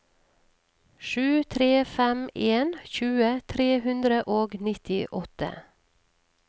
sju tre fem en tjue tre hundre og nittiåtte